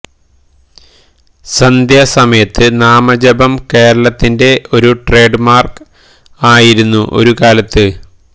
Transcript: സന്ധ്യാ സമയത്ത് നാമ ജപം കേരളത്തിന്റെ ഒരു ട്രേഡ് മാര്ക്ക് ആയിരുന്നു ഒരു കാലത്ത്